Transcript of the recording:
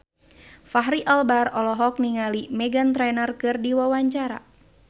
Fachri Albar olohok ningali Meghan Trainor keur diwawancara